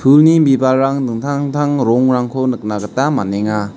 uni bibalrang dingtang dingtang rongrangko nikna gita man·enga.